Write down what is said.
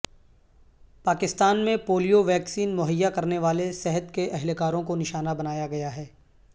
پاکستان میں polio vaccine مہیا کرنے والے صحت کے اہلکاروں کو نشانہ بنایا گیا ہے